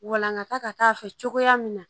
Walangata ka k'a fɛ cogoya min na